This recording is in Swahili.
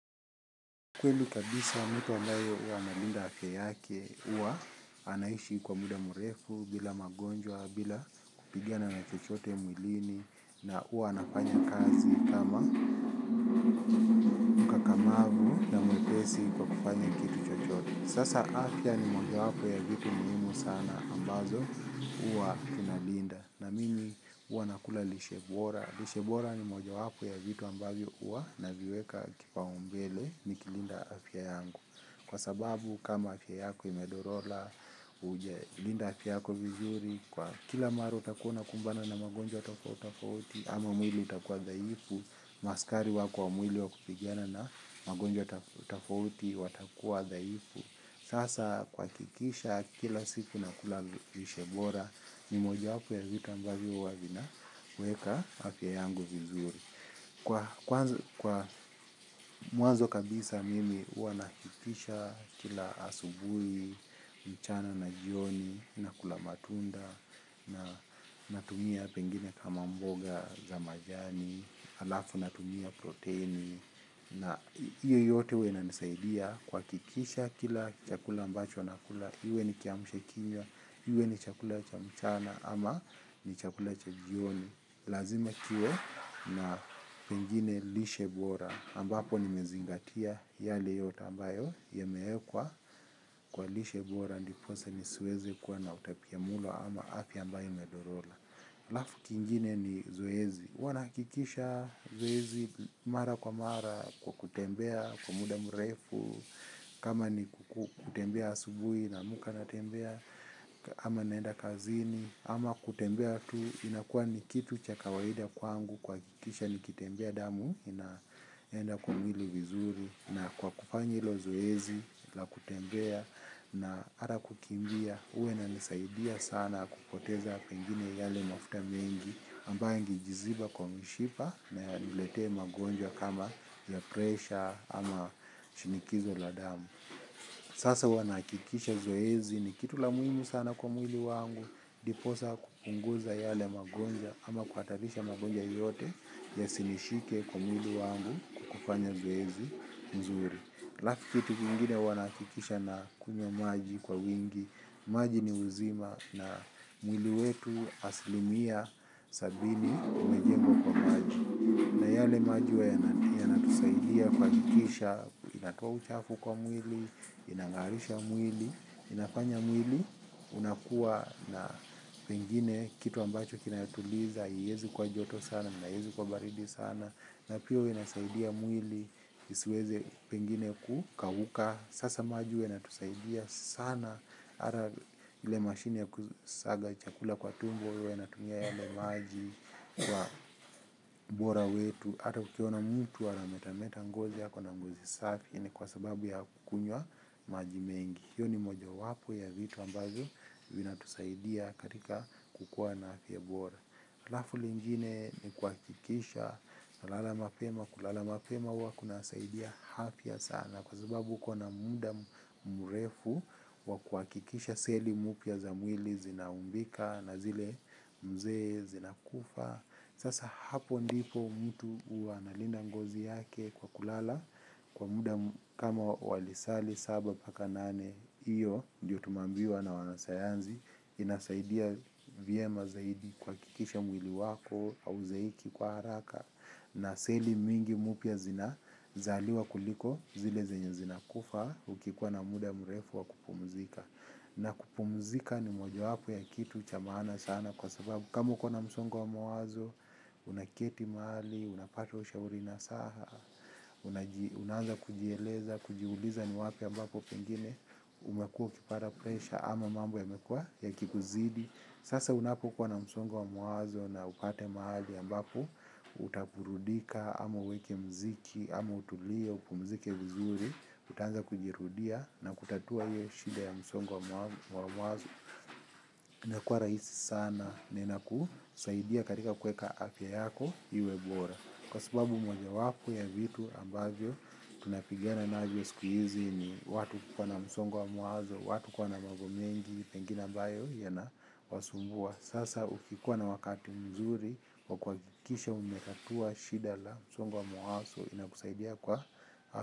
Kweli kabisa mtu ambaye huwa analinda afya yake huwa anaishi kwa muda mrefu bila magonjwa bila kupigana na chochote mwilini na huwa anafanya kazi kama mkakamavu na mwepesi kwa kufanya kitu chochote. Sasa afya ni mojawapo ya vitu muhimu sana ambazo huwa kinalinda na mini huwa nakula lishe bora. Lishe bora ni mojawapo ya vitu ambavyo huwa naviweka kipaumbele nikilinda afya yangu. Kwa sababu kama afya yako imedorora, hujalinda afya yako vizuri, kwa kila mara utakuwa unakumbana na magonjwa tofauti tofauti ama mwili utakuwa dhaifu, maaskari wako wa mwili wa kupigana na magonjwa tofauti watakuwa dhaifu. Sasa kuhakikisha kila siku nakula lishe bora ni moja wapo ya vitu ambavyo huwa vinaweka afya yangu vizuri. Kwa mwanzo kabisa mimi huwa nahakikisha kila asubuhi mchana na jioni nakula matunda natumia pengine kama mboga za majani halafu natumia protini na hiyo yote huwa inanisaidia kuhakikisha kila chakula ambacho nakula iwe ni kiamshakinywa iwe ni chakula cha mchana ama ni chakula cha jioni lazima kiwe na pengine lishe bora ambapo nimezingatia yale yote ambayo yameekwa kwa lishe bora ndiposa nisiweze kuwa na utapiamulo ama afya ambayo imedorora alafu kingine ni zoezi huwa nahakikisha zoezi mara kwa mara kwa kutembea kwa muda mrefu kama ni kutembea asubuhi naamka natembea ama naenda kazini ama kutembea tu inakuwa ni kitu cha kawaida kwangu kuhakikisha nikitembea damu inaenda kwa mwili vizuri na kwa kufanya hilo zoezi la kutembea. Na hata kukimbia huwa inanisaidia sana kupoteza pengine yale mafuta mengi ambayo yangejiziba kwa mishipa na yaniletee magonjwa kama ya presha ama shinikizo la damu. Sasa huwa nahakikisha zoezi ni kitu la muhimu sana kwa mwili wangu ndiposa kupunguza yale magonjwa ama kuhatarisha magonjwa yoyote yasinishike kwa mwili wangu kwa kufanya zoezi mzuri. Halafu kitu kingine huwa nahakikisha nakunywa maji kwa wingi. Maji ni uzima na mwili wetu asilimia sabini umejengwa kwa maji. Na yale maji huwa yanatusaidia kuhakikisha, inatoa uchafu kwa mwili, inang'arisha mwili, inafanya mwili, unakuwa na pengine kitu ambacho kinayotuliza, haiezi kuwa joto sana, na haiezi kuwa baridi sana na pia huwa inasaidia mwili isiweze pengine kukauka sasa maji huwa inatusaidia sana ata ile mashine ya kusaga chakula kwa tumbo. Huwa inatumia yale maji kwa ubora wetu ata ukiona mtu anametameta ngozi ako na ngozi safi ni kwa sababu ya kukunywa maji mengi hiyo ni mojawapo ya vitu ambavyo vinatusaidia katika kukua na afya bora. Halafu lingine ni kuhakikisha nalala mapema, kulala mapema huwa kunasaidia afya sana kwa sababu uko na muda mrefu wa kuhakikisha seli mpya za mwili zinaumbika na zile mzee zinakufa. Sasa hapo ndipo mtu huwa analinda ngozi yake kwa kulala kwa muda kama wa lisali saba paka nane hiyo ndiyo tumeambiwa na wanasayansi inasaidia vyema zaidi kuhakikisha mwili wako hauzeeki kwa haraka na seli mingi mpya zinazaliwa kuliko zile zenye zinakufa ukikuwa na muda mrefu wa kupumzika. Na kupumzika ni mojawapo ya kitu cha maana sana kwa sababu kama uko na msongo wa mawazo unaketi mahali unapata ushauri nasaha unaanza kujieleza kujiuliza ni wapi ambapo pengine umekuwa ukipata presha ama mambo yamekuwa yakikuzidi. Sasa unapokuwa na msongo wa mawazo na upate mahali ambapo utaburudika, ama uweke muziki, ama utulie, upumzike vizuri, utaanza kujirudia na kutatua hiyo shida ya msongo wa mawazo. Inakuwa raisi sana na inakusaidia katika kuweka afya yako iwe bora kwa sababu mojawapo ya vitu ambavyo tunapigana navyo siku hizi ni watu kuwa na msongo wa mawazo watu kuwa na mambo mengi pengine ambayo yanawasumbua. Sasa ukikuwa na wakati mzuri wa kuhakikisha umetatua shida la msongo wa mawazo inakusaidia kwa.